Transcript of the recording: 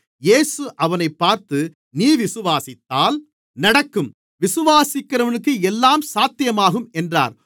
இயேசு அவனைப் பார்த்து நீ விசுவாசித்தால் நடக்கும் விசுவாசிக்கிறவனுக்கு எல்லாம் சாத்தியமாகும் என்றார்